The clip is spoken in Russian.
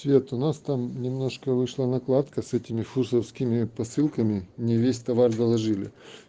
цвет у нас там немножко вышла накладка с этими французскими посылками не весь товар доложили